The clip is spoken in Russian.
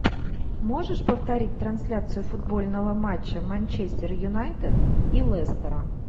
можешь повторить трансляцию футбольного матча манчестер юнайтед и лестера